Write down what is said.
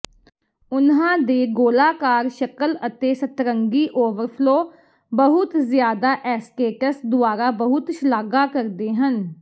ਉਨ੍ਹਾਂ ਦੇ ਗੋਲਾਕਾਰ ਸ਼ਕਲ ਅਤੇ ਸਤਰੰਗੀ ਓਵਰਫਲੋ ਬਹੁਤ ਜ਼ਿਆਦਾ ਐਸਟੇਟਸ ਦੁਆਰਾ ਬਹੁਤ ਸ਼ਲਾਘਾ ਕਰਦੇ ਹਨ